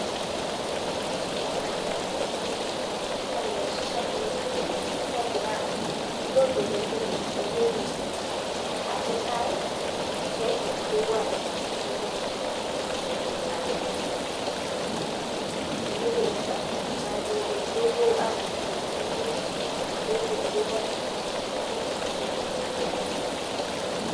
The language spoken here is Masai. Ore ebae nagira aasa tenewueji, naa lerrishak losinkirr, logira lojo pepik emeli enye, atua enkare, pejing pepuo arreshu sinkirr tiatua enkare. Emeli enye ena najo pepuo arreshunye sinkirr, peked pepuo arreshu sinkirr tiatua enkare.